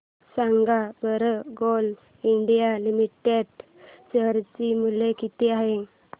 सांगा बरं GAIL India limited share मूल्य किती आहे